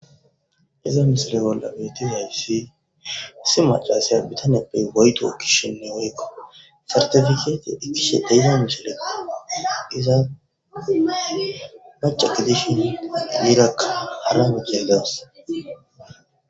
Hayissa misileza bolla betidayissi issi maccasiya bitanezappe woyitto ekishini sertepikete ekidda misileko iza macca gidishini erraka harra macciya dawussu.